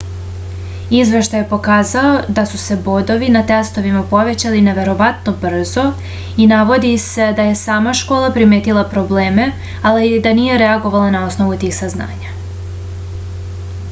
izveštaj je pokazao da su se bodovi na testovima povećali neverovatno brzo i navodi se da je sama škola primetila probleme ali da nije reagovala na osnovu tih saznanja